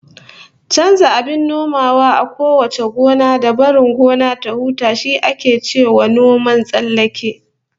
Chanza abin nomawa a kowace gona, da barin gona ta huta, shi ake cewa noman tsallake